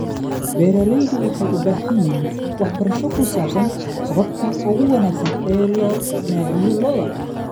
Beeraleydu waxay u baahan yihiin waxbarasho ku saabsan hababka ugu wanaagsan ee loo naaxiyo lo'da.